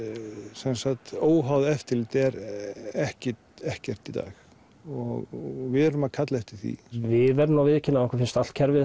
sem sagt óháða eftirlitið er ekkert ekkert í dag og við erum að kalla eftir því við verðum nú að viðurkenna að okkur finnst allt kerfið